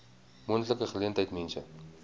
moontlike geleentheid mense